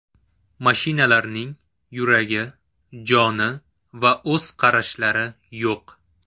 Mashinalarning yuragi, joni va o‘z qarashlari yo‘q.